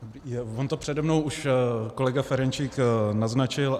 On to přede mnou už kolega Ferjenčík naznačil.